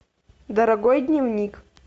дорогой дневник